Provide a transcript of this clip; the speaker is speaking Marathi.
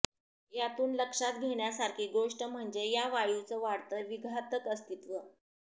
यातून लक्षात घेण्यासारखी गोष्ट म्हणजे या वायूचं वाढतं विघातक अस्तित्व